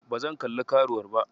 Ba zan kalli karuwar ba.